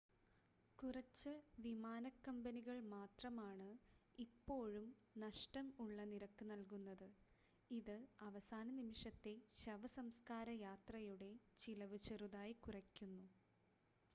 കുറച്ച് വിമാനക്കമ്പനികൾ മാത്രമാണ് ഇപ്പോഴും നഷ്ടം ഉള്ള നിരക്ക് നൽകുന്നത് ഇത് അവസാന നിമിഷത്തെ ശവസംസ്കാര യാത്രയുടെ ചിലവ് ചെറുതായി കുറയ്ക്കുന്നു